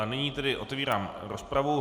A nyní tedy otevírám rozpravu.